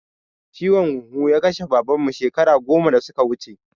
Ciwon huhu ya kashe Baban mu shekaru goma da suka wuce